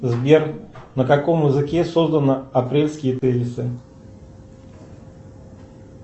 сбер на каком языке созданы апрельские тезисы